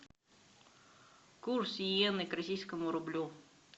курс йены к российскому рублю